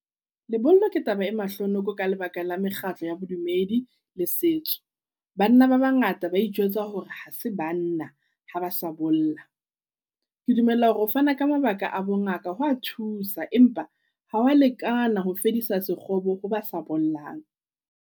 Lebollo ke taba e mahlonoko ka lebaka la mekgatlo ya bo dumedi le setso. Banna ba bangata ba ijwetsa hore ha se banna ha ba sa bola. Ke dumella hore ho fana ka mabaka a bo ngaka ho a thusa empa ha wa lekana ho fedisa sekgobo ho ba sa bollang.